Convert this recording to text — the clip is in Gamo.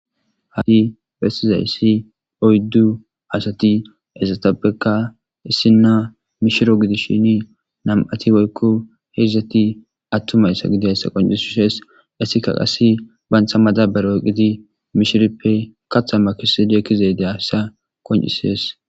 Ha'i bessizaysi oyddu asati izetapekka issina mishiro gidishin nam'ati woykko hedzdzati attuma asa gidiyaysa qoncishises; hayssika qassi banta madaabara oyqqidi mishiripe kaaththa makissidi ekiizay diyayssa qoncises.